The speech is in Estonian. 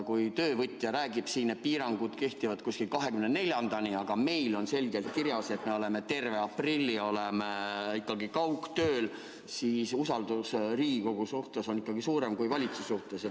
Kui töövõtja räägib, et piirangud kehtivad 24-ndani, aga meil on siin selgelt kirjas, et me oleme terve aprilli kaugtööl, siis on inimeste usaldus Riigikogu vastu ikkagi suurem kui valitsuse vastu.